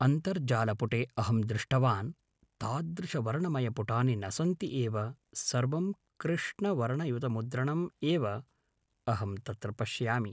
अन्तर्जालपुटे अहं दृष्टवान् तादृशवर्णमयपुटानि न सन्ति एव सर्वं कृष्णवर्णयुतमुद्रणम् एव अहं तत्र पश्यामि